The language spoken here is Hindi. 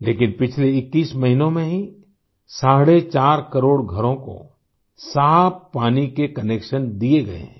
लेकिन पिछले 21 महीनों में ही साढ़े चार करोड़ घरों को साफ पानी के कनेक्शन दिए गए हैं